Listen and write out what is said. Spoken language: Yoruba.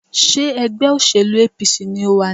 Ṣé ẹgbẹ́ òsèlú APC ni o wà ni?